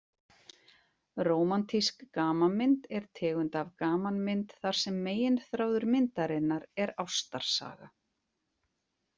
Rómantísk gamanmynd er tegund af gamanmynd þar sem meginþráður myndarinnar er ástarsaga.